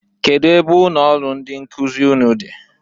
Kedu ebe ụnọ ọrụ ndị nkụzị ụnụ dị